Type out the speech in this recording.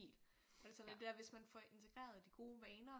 Alt sådan noget der hvis man får integreret de gode vaner